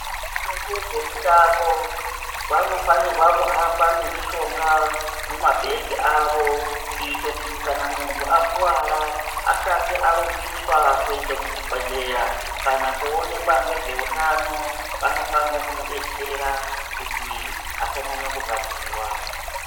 Vanoite zve mutambo vano fanirwa ku hamba ne mishonga mu mabhegi avo kuite kuti kana muntu akuwara asati arumbiswa kuenda ku chibhedhleya kana ku onekwa ngezve hutano vano fane kumu detsera kuti asa nyanya ku rwadziwa.